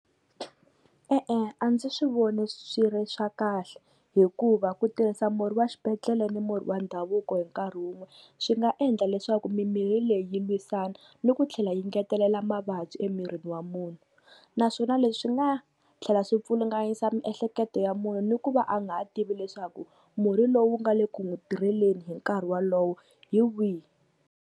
E-e a ndzi swi voni swi ri swa kahle hikuva ku tirhisa murhi wa xibedhlele ni murhi wa ndhavuko hi nkarhi wun'we swi nga endla leswaku mimirhi leyi yi lwisana ni ku tlhela yi ngetelela mavabyi emirini wa munhu. Naswona leswi swi nga tlhela swi pfulunganyisa miehleketo ya munhu ni ku va a nga ha tivi leswaku murhi lowu nga le ku n'wi tirheleni hi nkarhi wolowo hi wihi.